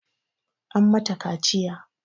An mata kaciya